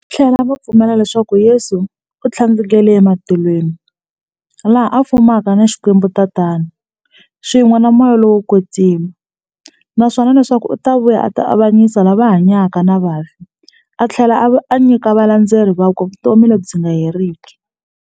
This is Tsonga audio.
Vathlela va pfumela leswaku Yesu u thlandlukele e matilweni, laha a fumaka na XikwembuTatana, swin'we na Moya lowo kwetsima, naswona leswaku u ta vuya a ta avanyisa lava hanyaka na vafi athlela a nyika valandzeri vakwe vutomi lebyi nga heriki.